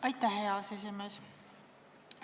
Aitäh, hea aseesimees!